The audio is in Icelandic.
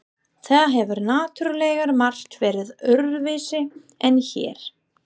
Það hefur náttúrlega margt verið öðruvísi en hér.